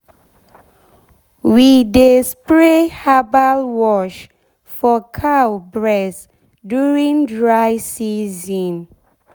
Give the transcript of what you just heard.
we dey spray herbal wash for cow bress during dry season.